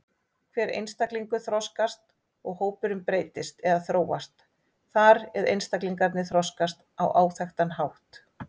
Hver einstaklingur þroskast og hópurinn breytist eða þróast þar eð einstaklingarnir þroskast á áþekkan hátt.